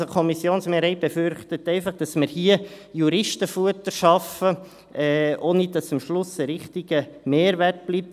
– Also, die Kommissionsmehrheit befürchtet einfach, dass wir hier Juristenfutter schaffen, ohne dass am Schluss ein richtiger Mehrwert bleibt.